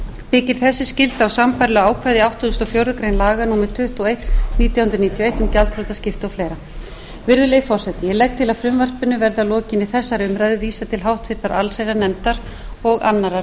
byggir þessi skylda á sambærilegu ákvæði í áttugasta og fjórðu grein laga númer tuttugu og eitt nítján hundruð níutíu og eitt um gjaldþrotaskipti og fleiri virðulegi forseti ég legg til að frumvarpinu verði að lokinni þessari umræðu vísað til háttvirtrar allsherjarnefndar og annarrar umræðu